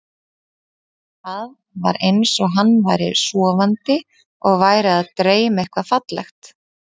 Það var eins og hann væri sofandi og væri að dreyma eitthvað fallegt.